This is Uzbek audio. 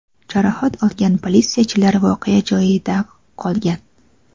Jarohat olgan politsiyachilar voqea joyida qolgan.